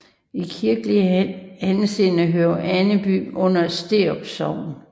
I kirkelig henseende hører Äneby under Sterup Sogn